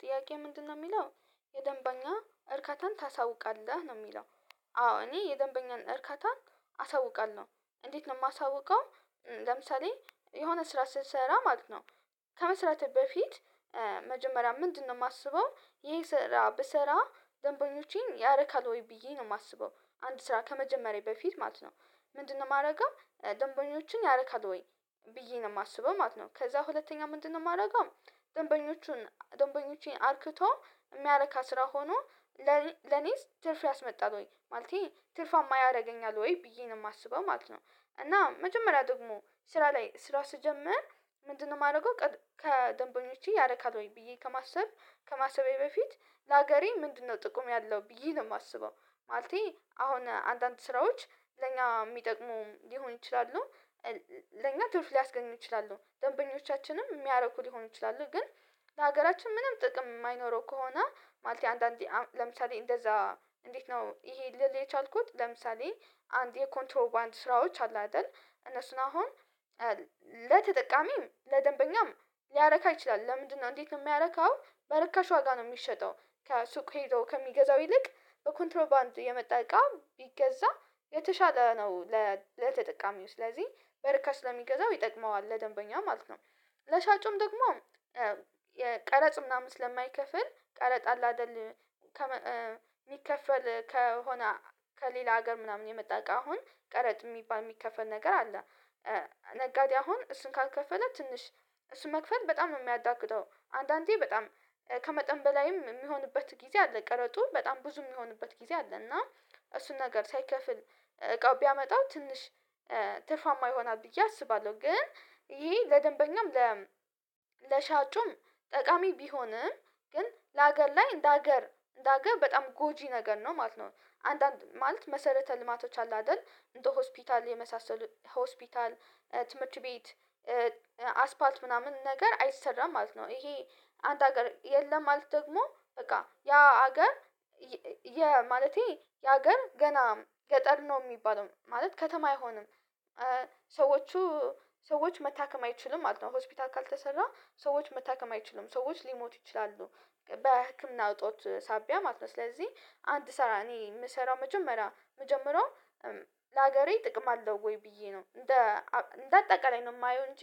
ጥያቄ ምንድነው የሚለው የደንበኛ እርካታን ታሳውቃለህ ነው የሚለው? አዎ እኔ የደንበኛን እርካታን አሳውቃለሁ እንዴት ነው የማሳውቀው። ለምሳሌ የሆነ ስራ ስንሰራ ማለት ነው። ከመስራቴ በፊት መጀመሪያ ምንድነው የማስበው ይሄ ስራ ብሰራ ደንበኞቼን ያረካል ወይ ብዬ ነው የማስበው? አንድ ስራ ከመጀመሪያዬ በፊት ማለት ነው። ምንድነው የማደርገው ደንበኞችን ያረካል ወይ? ብዬ ነው የማስበው ማለት ነው። ከዛ ሁለተኛ ምንድነው የማደርገው? ደንበኞቹን ደንበኞቼን አርክቶ የሚያረካ ስራ ሆኖ ለኔስ ትርፍ ያስመጣል ወይ ማለቴ ትርፋማ ያደርገኛል ወይ ብዬ ነው የማስበው ማለት ነው። እና መጀመሪያ ደግሞ ስራ ላይ ስራ ስጀምር ምንድነው የማደርገው ከደንበኞቼ ያረካል ወይ ብዬ ከማሰብ ከማሰቤ በፊት ለሀገሬ ምንድነው ጥቅም ያለው ብዬ ነው የማስበው። ማለቴ አሁን አንዳንድ ስራዎች ለኛ የሚጠቅሙ ሊሆን ይችላሉ። ለኛ ትርፍ ሊያስገኝ ይችላሉ ደንበኞቻችንም የሚያረኩ ሊሆን ይችላሉ። ግን ለሀገራችን ምንም ጥቅም የማይኖረው ከሆነ ማለት አንዳንዴ ለምሳሌ እንደዛ። እንዴት ነው ይሄ ልል የቻልኩት ለምሳሌ አንድ የኮንትሮባንድ ስራዎች አሉ አይደል? እነሱን አሁን ለተጠቃሚ ለደንበኛም ሊያረካ ይችላል። ለምንድነው እንዴት የሚያረካው በረካሽ ዋጋ ነው የሚሸጠው። ከሱቅ ሄዶ ከሚገዛው ይልቅ በኮንትሮባንድ የመጠቀም ቢገዛ የተሻለ ነው። ለተጠቃሚው ስለዚህ በርካሽ ለሚገዛው ይጠቅመዋል ለደንበኛ ማለት ነው። ለሻጩም ደግሞ ቀረጥ ምናምን ስለማይከፍል ቀረጥ አለ አይደል? ከሚከፈል ከሆነ ከሌላ ሀገር ምናምን የመጣ እቃ አሁን ቀረጥ የሚባ የሚከፈል ነገር አለ። ነጋዴ አሁን እሱን ካልከፈለ ትንሽ መክፈል በጣም ነው የሚያዳግጠው አንዳንዴ በጣም ከመጠን በላይም የሚሆንበት ጊዜ አለ ቀረጡ በጣም ብዙ የሚሆንበት ጊዜ አለ። እና እሱን ነገር ሳይከፍል እቃው ቢያመጣው ትንሽ ትርፋማ ይሆናል ብዬ አስባለሁ። ግን ይሄ ለደንበኛም ለሻጩም ጠቃሚ ቢሆንም ግን ለሀገር ላይ እንደ ሀገር እንደ ሀገር በጣም ጎጂ ነገር ነው ማለት ነው። አንዳንድ ማለት መሰረተ ልማቶች አሉ አይደል እንደ ሆስፒታል የመሳሰሉ ሆስፒታል ትምህርት ቤት አስፓልት ምናምን ነገር አይሰራም ማለት ነው። ይሄ አንድ ሀገር የለም ማለት ደግሞ በቃ ያ ሀገር የማለቴ ያ አገር ገና ገጠር ነው የሚባለው ማለት ከተማ አይሆንም። ሰዎች ሰዎች መታከም አይችልም ማለት ነው። ሆስፒታል ካልተሰራ ሰዎች መታከም አይችልም ሰዎች ሊሞት ይችላሉ። በህክምና እጦት ሳቢያ ማለት ነው። ስለዚህ አንድ ስራ እኔ የምሰራው መጀመሪያ ምጀመረው ለሀገሬ ጥቅም አለው ወይ ብዬ ነው እንደ እንደ አጠቃላይ ነው የማየው እንጂ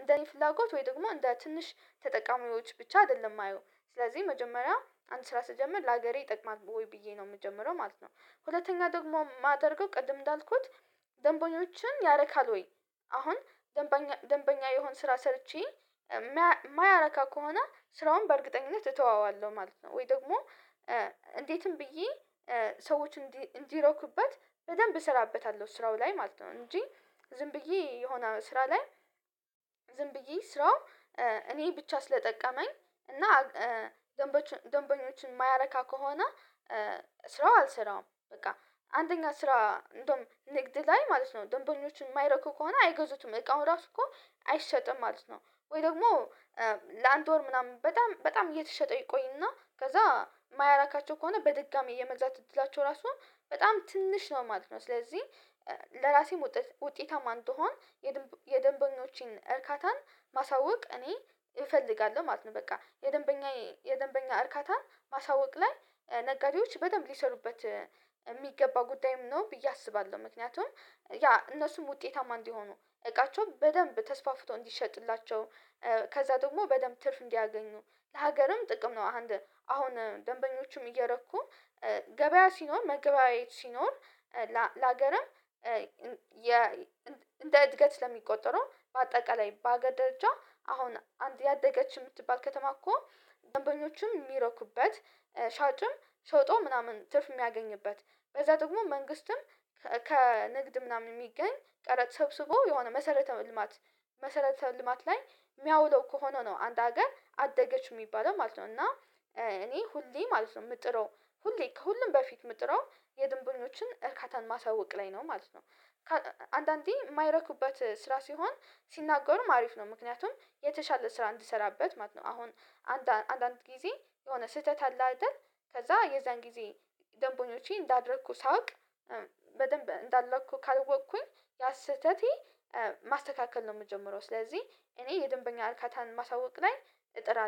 እንደ ፍላጎት ወይ ደግሞ እንደ ትንሽ ተጠቃሚዎች ብቻ አይደለም የማየው ስለዚህ መጀመሪያ አንድ ስራ ስጀምር ለሀገሬ ይጠቅማል ወይ ብዬ ነው የምጀምረው ማለት ነው። ሁለተኛ ደግሞ የማደርገው ቅድም እንዳልኩት ደንቦኞችን ያረካል ወይ? አሁን ደንበኛ ደንበኛ የሆን ስራ ሰርቼ የማያረካ ከሆነ ስራውን በእርግጠኝነት እተወዋለሁ ማለት ነው። ወይ ደግሞ እንዴትም ብዬ ሰዎች እንዲረኩበት በደንብ እሰራበታለሁ ስራው ላይ ማለት ነው። እንጂ ዝም ብዬ የሆነ ስራ ላይ ዝም ብዬ ስራው እኔ ብቻ ስለጠቀመኝ እና ደንበኞችን የማያረካ ከሆነ ስራው አልሰራም። በቃ አንደኛ ስራ እንደውም ንግድ ላይ ማለት ነው ደንበኞችን የማይረኩ ከሆነ አይገዙትም እቃው ራሱ እኮ አይሸጥም ማለት ነው። ወይ ደግሞ ላንድ ወር ምናምን በጣም በጣም እየተሸጠ ይቆይና ከዛ የማያራካቸው ከሆነ በድጋሚ የመግዛት እድላቸው ራሱ በጣም ትንሽ ነው ማለት ነው። ስለዚህ ለራሴም ውጤት ውጤታማ እንድሆን የደንበኞችን እርካታን ማሳወቅ እኔ እፈልጋለሁ ማለት ነው። በቃ የደንበኛ የደንበኛ እርካታን ማሳወቅ ላይ ነጋዴዎች በጣም ሊሰሩበት የሚገባ ጉዳይም ነው ብዬ አስባለሁ። ምክንያቱም ያ እነሱም ውጤታማ እንዲሆኑ እቃቸው በደንብ ተስፋፍቶ እንዲሸጥላቸው ከዛ ደግሞ በደንብ ትርፍ እንዲያገኙ ሀገርም ጥቅም ነው። አንድ አሁን ደንበኞቹም እየረኩ ገበያ ሲኖር መግባቢያዎች ሲኖር ላሃገርም እንደ እድገት ለሚቆጠረው በአጠቃላይ በሃገር ደረጃ አሁን አንድ እያደገች የምትባል ከተማ እኮ ደንበኞችም የሚረኩበት ሻጭም ሸጦ ምናምን ትርፍ የሚያገኝበት በዛ ደግሞ መንግስትም ከንግድ ምናምን የሚገኝ ቀረጥ ሰብስቦ የሆነ መሰረተ ልማት መሰረተ ልማት ላይ የሚያውለው ከሆነ ነው አንድ ሀገር አደገች የሚባለው ማለት ነው። እና እኔ ሁሌ ማለት ነው የምጥረው ሁሌ ከሁሌም በፊት የምጥረው የድንብኞችን እርካታን ማሳወቅ ላይ ነው ማለት ነው። አንዳንዴ የማይረኩበት ስራ ሲሆን ሲናገሩም አሪፍ ነው ምክንያቱም የተሻለ ስራ እንድሰራበት ማለት ነው። አሁን አንዳንድ ጊዜ የሆነ ስህተት አለ አይደል ከዛ የዛን ጊዜ ደንቦኞቼ እንዳደረኩ ሳውቅ በደንብ እንዳለኩ ካልወቅኩኝ ያ ስህተቴ ማስተካከል ነው። የምጀምረው ስለዚህ እኔ የደንበኛ አልካታን ማሳወቅ ላይ እጥራለሁ